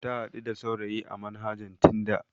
Ta haɗu da saurayi a manhajar tinda.